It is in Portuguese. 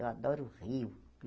Eu adoro rio.